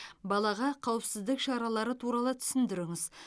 балаға қауіпсіздік шаралары туралы түсіндіріңіз